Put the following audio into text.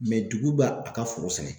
dugu b'a a ka foro sɛnɛ.